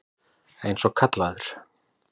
Eins og kallaður.